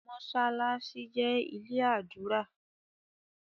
Mossalassi jé ilé adura